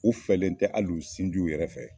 U fɛlen tɛ hali u sinjiw yɛrɛ fɛ.